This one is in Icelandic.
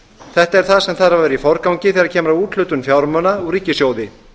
þetta er það að vera í forgangi þegar kemur að úthlutun fjármuna úr ríkissjóði